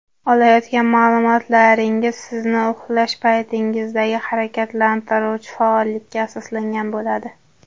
Olayotgan ma’lumotlaringiz sizning uxlash paytingizdagi harakatlantiruvchi faollikka asoslangan bo‘ladi.